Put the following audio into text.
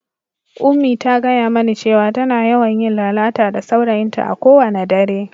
Unmie ta gaya mani cewa tana yawan yin lalata da saurayinta a kowane dare.